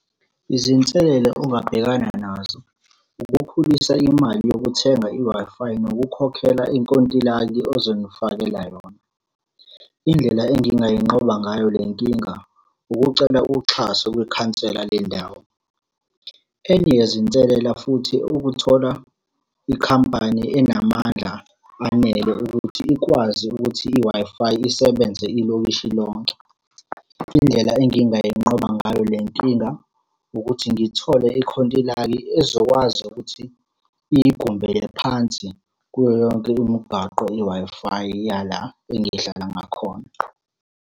Izinselela ongabhekana nazo. Ukukhulisa imali yokuthenga i-Wi-Fi, nokukhokhela inkontilaki ozonifakela yona. Indlela engingayi nqoba ngayo le nkinga, ukucela uxhaso kwikhansela lendawo. Enye yezinselela futhi ukuthola ikhampani enamandla anele ukuthi ikwazi ukuthi i-Wi-Fi isebenze ilokishi lonke. Indlela engingayinqoba ngayo le nkinga, ukuthi ngithole ikhontilaki ezokwazi ukuthi iyigumbele phansi, kuyo yonke imigaqo i-Wi-Fi yala engihlala ngakhona.